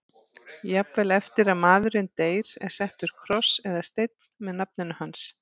Jafnvel eftir að maðurinn deyr er settur kross eða steinn með nafninu hans.